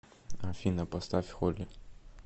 афина поставь холи